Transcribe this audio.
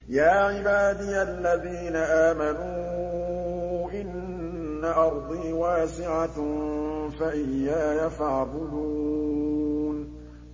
يَا عِبَادِيَ الَّذِينَ آمَنُوا إِنَّ أَرْضِي وَاسِعَةٌ فَإِيَّايَ فَاعْبُدُونِ